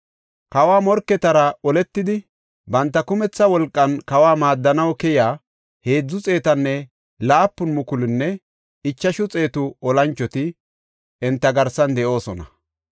Kawa morketara oletidi, banta kumetha wolqan kawa maaddanaw keyiya heedzu xeetanne laapun mukulunne ichashu xeetu olanchoti enta garsan de7oosona.